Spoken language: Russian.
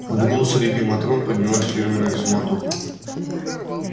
в углу среди матрон поднялась фирменная суматоха